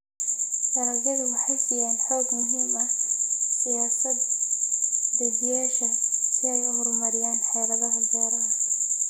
Dalagyadu waxay siiyaan xog muhiim ah siyaasad-dejiyeyaasha si ay u horumariyaan xeeladaha beeraha.